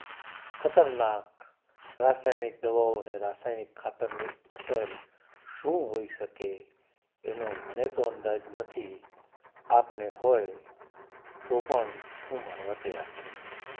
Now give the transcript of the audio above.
ખતરનાક રાસાયણિક દવાઓ અને રાસાયણિક ખાતર ની અસર શું હોય શકે એનો મને તો અંદાજ નથી અપને હોય તો હું માનવ તૈયાર નથી